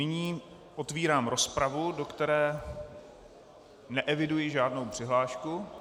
Nyní otvírám rozpravu, do které neeviduji žádnou přihlášku.